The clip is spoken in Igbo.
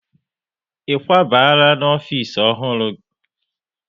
Ị kwabala n'ofisi ọhụrụ?